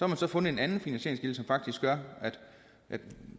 man fundet en anden finansieringskilde som faktisk gør at